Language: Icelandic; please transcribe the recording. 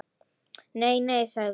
Nei, nei sagði hún.